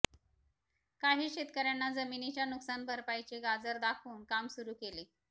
काही शेतकऱयांना जमिनीच्या नुकसानभरपाईचे गाजर दाखवून काम सुरू केले